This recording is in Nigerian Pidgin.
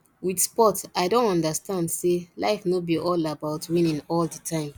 with sport i don understand sey life no be all about winning all the time